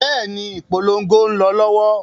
Bẹ́ẹ̀ni, ìpolongo ń lọ lọ́wọ́.